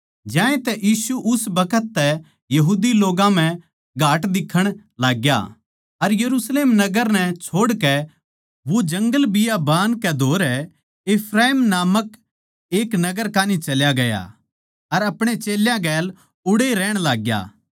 ज्यांतै यीशु उस बखत तै यहूदी लोग्गां म्ह घाट दिक्खण लागग्या अर यरुशलेम नगर नै छोड़कै वो जंगलबियाबान कै धोरै इफ्राईम नामक एक नगर कान्ही चल्या गया अर अपणे चेल्यां गेलै उड़ैए रहण लाग्या